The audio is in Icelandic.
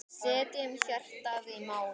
Setjum hjartað í málið.